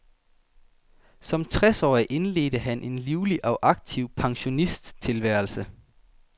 Som tres årig indledte han en livlig og aktiv pensionisttilværelse.